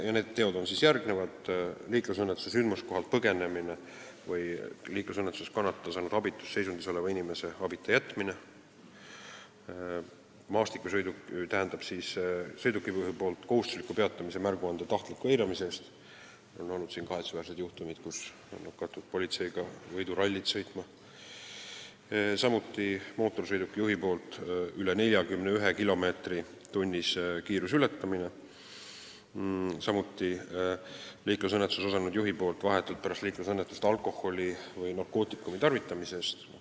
Need teod on järgmised: liiklusõnnetuse korral sündmuskohalt põgenemine või liiklusõnnetuses kannatada saanud abitus seisundis oleva inimese abita jätmine, kohustusliku peatumise märguande tahtlik eiramine sõidukijuhi poolt , mootorsõidukijuhi poolt lubatud sõidukiiruse ületamine rohkem kui 41 kilomeetrit tunnis ja samuti liiklusõnnetuses osalenud juhi poolt vahetult pärast liiklusõnnetust alkoholi või narkootikumi tarvitamine.